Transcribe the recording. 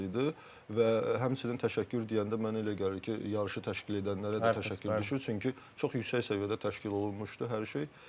Və həmçinin təşəkkür deyəndə mənə elə gəlir ki, yarışı təşkil edənlərə də təşəkkür düşür, çünki çox yüksək səviyyədə təşkil olunmuşdu hər şey.